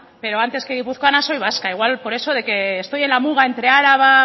pero antes que guipuzcoana soy vasca igual por eso de que estoy en la muga entre araba